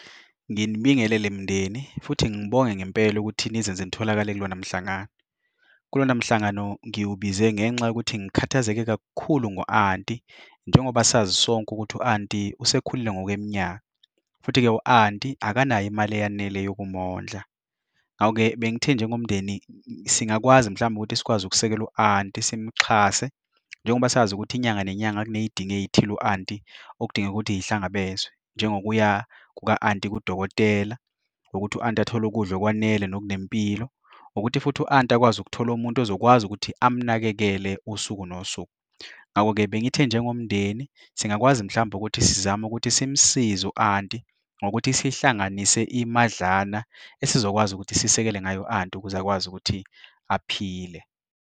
Nginibingelele mndeni futhi ngibonge ngempela ukuthi nizenze nitholakala kulona mhlangano. Kulona mhlangano ngiwukubize ngenxa yokuthi ngikhathazeke kakhulu ngo-anti, njengoba sazi sonke ukuthi u-anti usekhulile ngokweminyaka, futhi-ke u-anti akanayo imali eyanele yokumondla. Ngakho-ke bengithe njengomndeni singakwazi mhlawumbe ukuthi sikwazi ukusekela u-anti simuxhase njengoba sazi ukuthi inyanga nenyanga kunezidingo ezithile u-anti okudingeka ukuthi zihlangabezwe, njengokuya kuka-anti kudokotela ukuthi u-anti athole ukudla okwanele nokunempilo, ukuthi futhi u-anti akwazi ukuthola umuntu ozokwazi ukuthi amunakekele usuku nosuku. Ngakho-ke bengithe njengomndeni singakwazi mhlawumbe ukuthi sizame ukuthi simsize u-anti ngokuthi sihlanganise imadlana esizokwazi ukuthi sisekele ngayo u-anti ukuze akwazi ukuthi aphile.